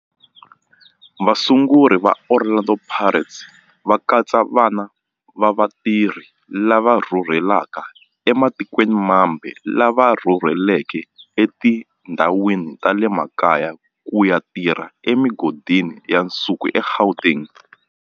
Vasunguri va Orlando Pirates va katsa vana va vatirhi lava rhurhelaka ematikweni mambe lava rhurheleke etindhawini ta le makaya ku ya tirha emigodini ya nsuku eGauteng.